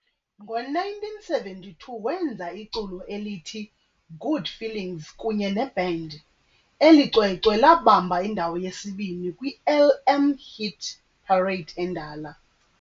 ngo1972 wenza iculo elithi "Good Feelings" kunye neband, eli cwecwe labamba indawo yesi-2 kwiLM Hit Parade endala.